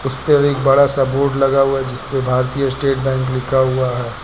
उसपर एक बड़ा सा बोर्ड लगा हुआ है जिसपे भारतीय स्टेट बैंक लिखा हुआ है।